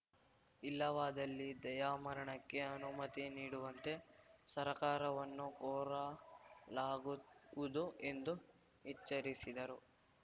ಇಲ್ಲವಾದಲ್ಲಿ ದಯಾಮರಣಕ್ಕೆ ಅನುಮತಿ ನೀಡುವಂತೆ ಸರ್ಕಾರವನ್ನು ಕೋರಲಾಗುವುದು ಎಂದು ಎಚ್ಚರಿಸಿದರು